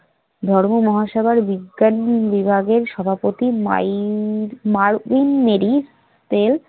ধর্ম মহাসেবার বিজ্ঞান বিভাগের সভাপতি মাইন~ মার উন নেডি